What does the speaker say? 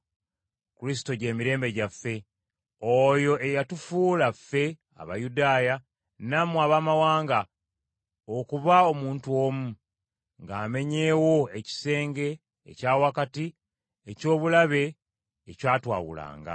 Kristo gy’emirembe gyaffe, oyo eyatufuula ffe Abayudaaya nammwe Abaamawanga, okuba omuntu omu, ng’amenyeewo ekisenge ekya wakati eky’obulabe, ekyatwawulanga.